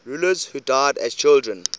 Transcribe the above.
rulers who died as children